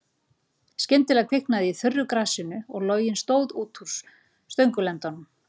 Skyndilega kviknaði í þurru grasinu og loginn stóð út úr stöngulendanum.